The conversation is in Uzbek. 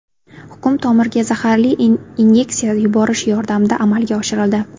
Hukm tomirga zaharli inyeksiya yuborish yordamida amalga oshirildi.